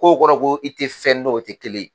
Ko o kɔrɔ ye k'i tɛ fɛn dɔn o tɛ kelen ye.